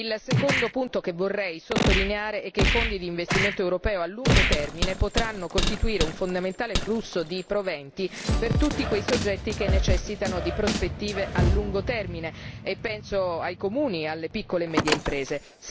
Il secondo punto che vorrei sottolineare è che i fondi di investimento europeo a lungo termine potranno costituire un fondamentale flusso di proventi per tutti quei soggetti che necessitano di prospettive a lungo termine, e penso ai comuni e alle piccole e medie imprese.